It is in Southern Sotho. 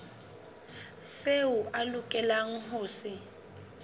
seo a lokelang ho se